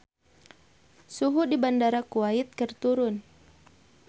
Suhu di Bandara Kuwait keur turun